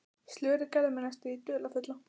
Slörið gerði mig næstum því dularfulla.